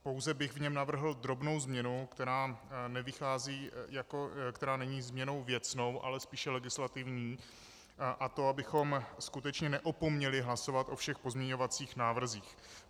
Pouze bych v něm navrhl drobnou změnu, která není změnou věcnou, ale spíše legislativní, a to abychom skutečně neopomněli hlasovat o všech pozměňovacích návrzích.